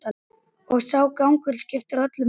Og sá gangur skiptir öllu máli.